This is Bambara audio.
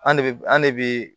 An de b an de bi